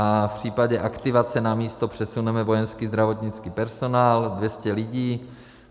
A v případě aktivace na místo přesuneme vojenský zdravotnický personál, 200 lidí.